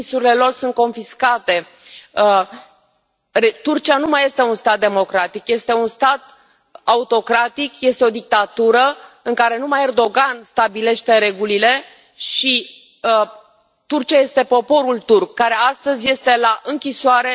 Businessurile lor sunt confiscate. Turcia nu mai este un stat democratic, este un stat autocratic, este o dictatură în care numai Erdogan stabilește regulile și Turcia este poporul turc care astăzi este la închisoare.